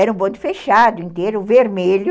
Era um bonde fechado inteiro, vermelho,